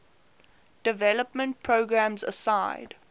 development programs aside